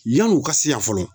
Yan'u ka si yan fɔlɔ.